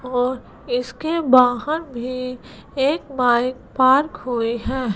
और इसके बाहर भी एक बाइक पार्क हुई है।